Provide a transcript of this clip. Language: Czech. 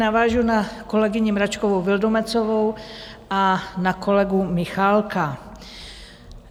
Navážu na kolegyni Mračkovou Vildumetzovou a na kolegu Michálka.